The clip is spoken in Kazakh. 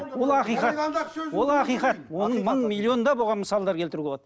ол ақиқат ол ақиқат оның мың миллиондап оған мысалдар келтіруге болады